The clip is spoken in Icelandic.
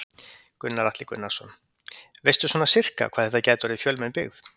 Gunnar Atli Gunnarsson: Veistu svona sirka hvað þetta gæti orðið fjölmenn byggð?